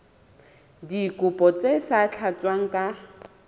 dikopo tse sa tlatswang ka